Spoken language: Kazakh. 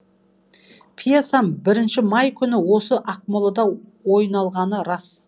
пьесам бірінші май күні осы ақмолада ойналғаны рас